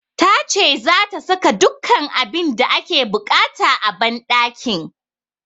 Ta ce zata saka dukkan abin da ake buƙata a banɗakin